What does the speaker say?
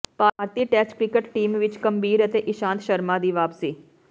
ਭਾਰਤੀ test cricket team ਵਿਚ ਗੰਭੀਰ ਤੇ ਇਸ਼ਾਂਤ ਸ਼ਰਮਾ ਦੀ ਵਾਪਸੀ